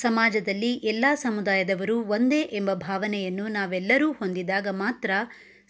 ಸಮಾಜದಲ್ಲಿ ಎಲ್ಲಾ ಸಮುದಾಯದವರು ಒಂದೇ ಎಂಬ ಭಾವನೆಯನ್ನು ನಾವೆಲ್ಲರೂ ಹೊಂದಿದಾಗ ಮಾತ್ರ